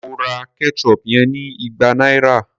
Mo ra ketchup yen ní igba náírà.